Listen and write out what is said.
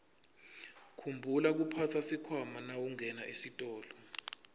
khumbula kuphatsa sikhwama nawungena esitolo